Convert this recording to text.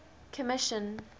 commission